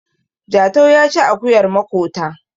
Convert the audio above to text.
Jatau ya saci akuyar makota